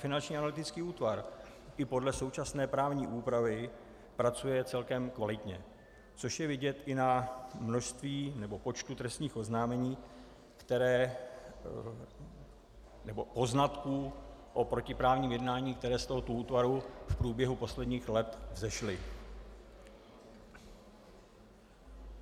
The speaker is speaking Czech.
Finanční analytický útvar i podle současné právní úpravy pracuje celkem kvalitně, což je vidět i na množství nebo počtu trestních oznámení, která - nebo poznatků o protiprávním jednání, které z tohoto útvaru v průběhu posledních let vzešly.